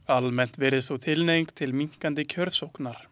Almennt virðist þó tilhneiging til minnkandi kjörsóknar.